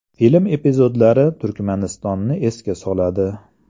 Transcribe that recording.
Film epizodlari Turkmanistonni esga soladi.